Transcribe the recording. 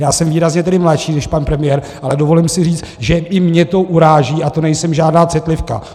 Já jsem výrazně tedy mladší než pan premiér, ale dovolím si říct, že i mě to uráží, a to nejsem žádná citlivka.